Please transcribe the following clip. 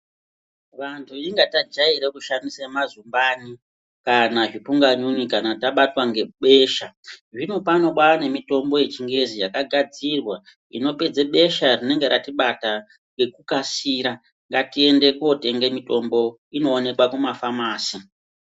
Vantu inga tajaira kushandisa mazumbani kana zvipunganyunyu kana tabatwa ngebesha, zvinopano kwaane mitombo yechingezi yakagadzirwa zvinopedza besha rinenge ratibata ngekukasira ngatiende kootenga mitombo inoonekwa kumafamasi.